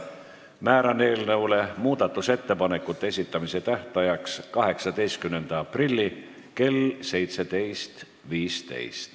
Määran eelnõu muudatusettepanekute esitamise tähtajaks 18. aprilli kell 17.15.